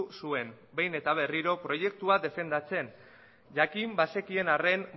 zuen behin eta berriro proiektua defendatzen jakin bazekien arren